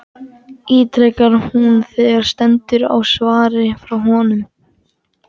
ítrekar hún þegar stendur á svari frá honum.